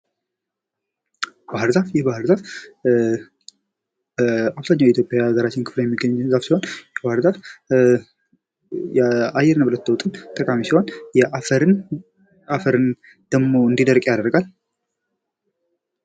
ባህርዛፍ፤ የባህርዛፍ አብዛኛው የኢትዮጵያ የሃገራችን ክፍሎች የሚገኝ ዛፍ ሲሆን ባህርዛፍ ለአየር ንብረት ለውጥ ጠቃሚ ሲሆን አፈር እንዳይደርቅ ያደርጋል።